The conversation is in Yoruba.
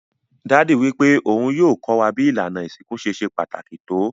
Daddy wípé oun yio ko wa bi ìlànà ìsinkú ṣe se pàtàkì to